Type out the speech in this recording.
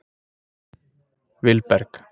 Vilberg